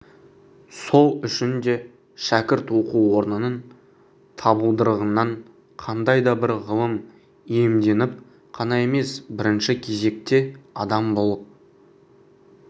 сол үшін де шәкірт оқу орнының табалдырығынан қандай да бір ғылым иемденіп қана емес бірінші кезекте адам болып